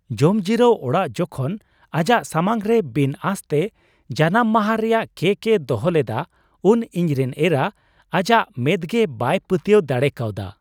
ᱡᱚᱢᱡᱤᱨᱟᱹᱣ ᱚᱲᱟᱜ ᱡᱚᱠᱷᱚᱱ ᱟᱡᱟᱜ ᱥᱟᱢᱟᱝ ᱨᱮ ᱵᱤᱱ ᱟᱸᱥᱛᱮ ᱡᱟᱱᱟᱢ ᱢᱟᱦᱟ ᱨᱮᱭᱟᱜ ᱠᱮᱠ ᱮ ᱫᱚᱦᱚ ᱞᱮᱫᱟ ᱩᱱ ᱤᱧᱨᱮᱱ ᱮᱨᱟ ᱟᱡᱟᱜ ᱢᱮᱸᱫᱜᱮ ᱵᱟᱭ ᱯᱟᱹᱛᱭᱟᱹᱣ ᱫᱟᱲᱮ ᱠᱟᱣᱫᱟ ᱾